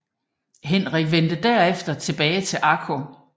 Henrik vendte derefter tilbage til Akko